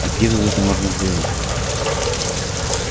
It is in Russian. а где тут это можно сделать